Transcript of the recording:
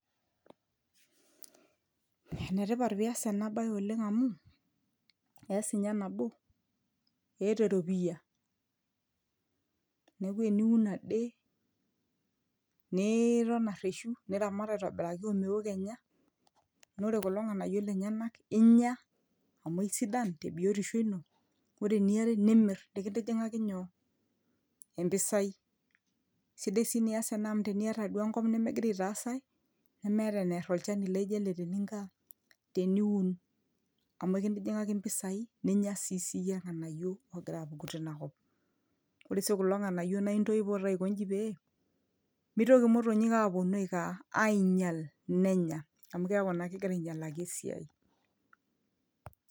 enetipat piyas ena baye oleng amu ees inye nabo eeta eropiyia neeku eniun ade niiton arreshu niramat aitobiraki omeo kenya nare kulo ng'anayio lenyenak inya amu aisidan te biotisho ino ore eniare nimirr nikintijing'aki nyoo empisai sidai sii nias ena amu teniata duo enkop nimigira aitaas ae nemeeta enerr olchani laijo ele teninko aa teniun amu ekintijing'aki impisai ninya siisii iyie irng'anayio ogira apuku tinakop ore sii kulo ng'anayio naa intoipo taa aikonji pee mitoki imotonyik aponu aiko aaa ainyial nenya amu keeku naa kegira ainyialaki esiai.